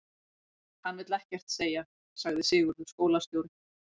Hann vill ekkert segja, sagði Sigurður skólastjóri.